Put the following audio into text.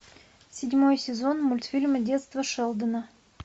седьмой сезон мультфильма детство шелдона